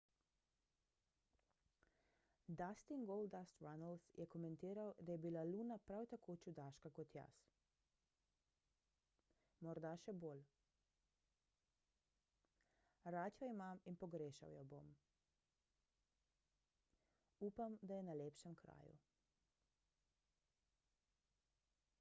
dustin goldust runnels je komentiral da je bila luna prav tako čudaška kot jaz ... morda še bolj ... rad jo imam in pogrešal jo bom ... upam da je na lepšem kraju